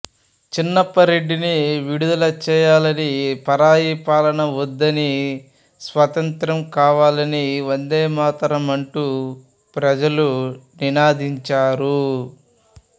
చిన్నపరెడ్డిని విడుదల చేయాలనీ పరాయిపాలన వద్దనీ స్వాతంత్య్రం కావాలనీ వందేమాతరమంటూ ప్రజలు నినదించారు